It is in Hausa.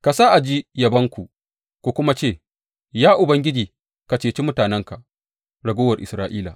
Ka sa a ji yabanku, ku kuma ce, Ya Ubangiji ka ceci mutanenka, raguwar Isra’ila.’